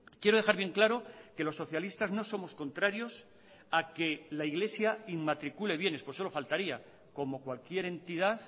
quiero dejar bien claro que los socialistas no somos contrarios a que la iglesia inmatricule bienes pues solo faltaría como cualquier entidad